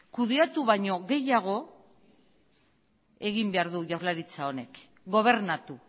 kudeatu baino gehiago egin behar du jaurlaritza honek gobernatu